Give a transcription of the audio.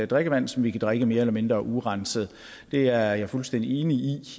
drikkevand som vi kan drikke mere eller mindre urenset det er jeg fuldstændig enig